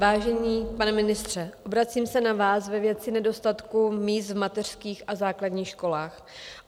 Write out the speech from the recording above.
Vážený pane ministře, obracím se na vás ve věci nedostatku míst v mateřských a základních školách.